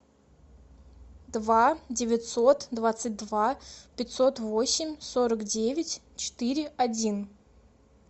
два девятьсот двадцать два пятьсот восемь сорок девять четыре один